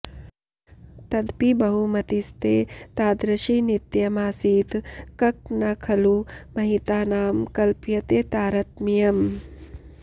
तदपि बहुमतिस्ते तादृशी नित्यमासीत् क्क नु खलु महितानां कल्प्यते तारतम्यम्